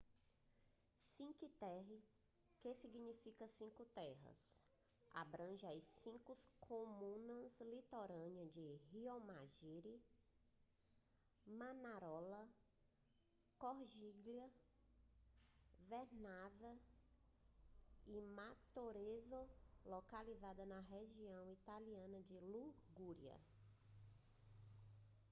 cinque terre que significa cinco terras abrange as cinco comunas litorâneas de riomaggiore manarola corniglia vernazza e monterosso localizadas na região italiana da ligúria